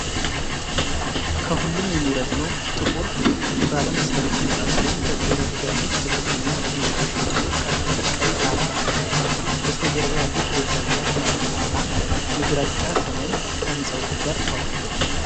ከሁሉም የሚረዝመው ጥቁር ባለ መስታወት ህንፃ ሲሆን፣ ከፊት ለፊት ያሉት ዝቅተኛ ህንፃዎች ደግሞ ቀይ ጣራ አላቸው። በስተጀርባ ያሉት ደብዛዛ ተራሮችና የግራጫ ሰማይ ከህንፃዎቹ ጋር ተዋህደዋል።